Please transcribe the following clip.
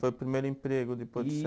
Foi o primeiro emprego depois do